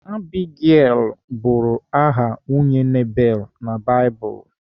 Abigail bụrụ aha nwunye Nabal na Baịbụl.